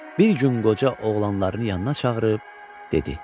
Bir gün qoca oğlanlarını yanına çağırıb dedi: